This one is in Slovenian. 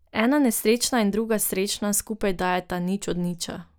Ena nesrečna in druga srečna skupaj dajeta nič od niča.